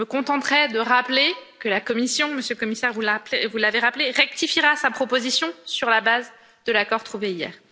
Je me contenterai de rappeler que la Commission Monsieur le Commissaire, vous l'avez rappelé rectifiera sa proposition sur la base de l'accord trouvé hier.